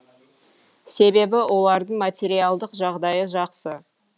себебі олардың материалдық жағдайы жақсы